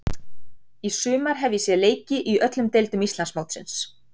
Í sumar hef ég séð leiki í öllum deildum Íslandsmótsins.